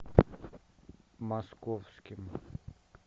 московским